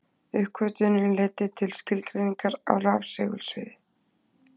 Uppgötvunin leiddi til skilgreiningar á rafsegulsviði.